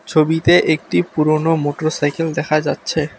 ছবিতে একটি পুরনো মোটরসাইকেল দেখা যাচ্ছে।